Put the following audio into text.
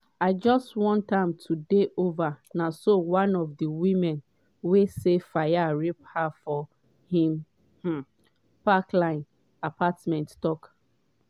i just wan am to dey over” na so one of di women wey say fayed rape her for im um park lane apartment tok.